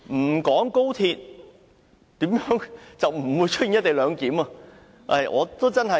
沒有高鐵，便不會出現"一地兩檢"。